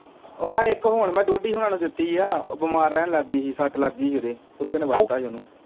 ਉਹ ਆਹ ਇੱਕ ਹੁਣ ਮੈਂ ਡੋਡੀ ਹੁਣਾਂ ਨੂੰ ਦਿੱਤੀ ਹੈ, ਉਹ ਬਿਮਾਰ ਰਹਿਣ ਲੱਗ ਗਈ ਸੀ, ਸੱਟ ਲੱਗ ਗਈ ਸੀ ਉਹਦੇ, ਕੁੱਤੇ ਨੇ ਵੱਢਤਾ ਸੀ ਉਹਨੂੰ